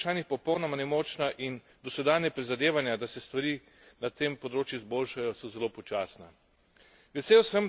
Evropska unija je pri teh vprašanjih popolnoma nemočna in dosedanja prizadevanja, da se stvari na tem področju izboljšajo, so zelo počasna.